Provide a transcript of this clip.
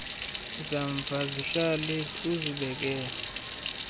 zamva zihlale uzibekele